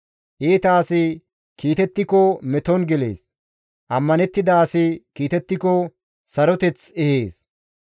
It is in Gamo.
Iita asi kiitettiko meton gelees; ammanettida asi kiitettiko saroteth ehees.